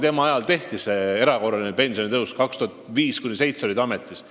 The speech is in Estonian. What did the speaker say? Tema ajal – ta oli ametis 2005–2007 – tehti erakorraline pensionitõus.